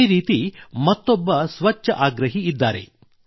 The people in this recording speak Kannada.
ಇದೇ ರೀತಿ ಮತ್ತೊಬ್ಬ ಸ್ವಚ್ಛಾಗ್ರಹಿ ಇದ್ದಾರೆ